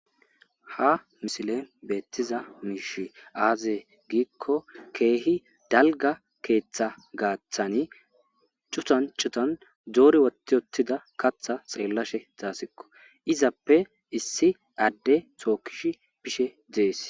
Ha misilen beettiza miish aazee giikko keehi dalga keeththa gaaththani cutancutan doori wotti ottida katha xeellashe zaasikko izappe issi adde tookkish bishe dees.